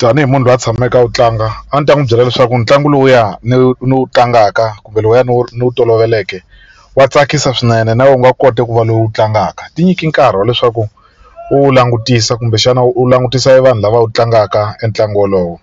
Tanihi munhu loyi a tshameke a wu tlanga a ndzi ta n'wi byela leswaku ntlangu lowuya no no wu tlangaka kumbe lowuya ni wu ni wu toloveleke wa tsakisa swinene na wena u nga kota ku va lowu u wu tlangaka ti nyiki nkarhi wa leswaku wu langutisa kumbexana u langutisa evanhu lava wu tlangaka entlangu wolowo